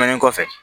Nin kɔfɛ